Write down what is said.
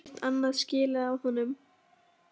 Hún á ekkert annað skilið af honum.